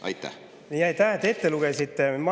Aitäh, et ette lugesite!